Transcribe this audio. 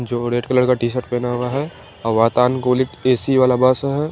जो red colour का T shirt पहना हुआ है और वातानकूलित ऐ_सी वाला बस है।